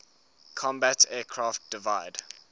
combat aircraft divide